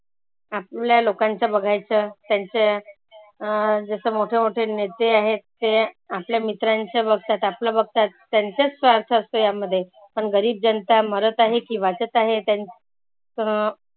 आपल्या लोकांच बघायच त्यांच्या अं जसं मोठे मोठे नेते आहेत. ते आपल्या मित्रांचे बघतात, आपलं बघतात. त्यांचाच भाग असतो यामध्ये. पण गरीब जनता मरत आहे की वाचत आहे त्यां अं